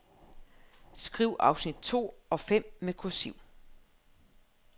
Skriv afsnit to og fem med kursiv.